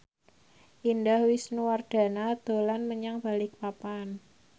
Indah Wisnuwardana dolan menyang Balikpapan